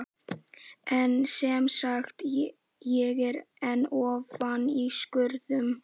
En semsagt: ég er enn ofan í skurðum.